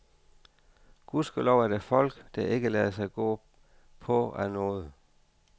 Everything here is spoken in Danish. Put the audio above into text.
Gudskelov er der folk, der ikke lader sig gå på af noget.